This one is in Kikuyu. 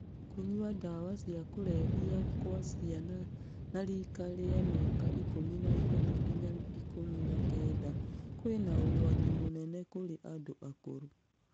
Kũnyua ndawa cia kũlevya kwa ciana na rika ria mĩaka ikũmi na ĩtatũ ginya ikũmi na kenda kwĩna ũgwati mũnene kũrĩ andũ akũrũ.